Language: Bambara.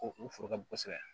O o foro ka bon kosɛbɛ